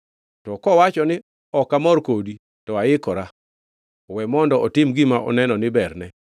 To kowacho ni, ‘Ok amor kodi,’ to aikora; we mondo otim gima oneno ni berne.”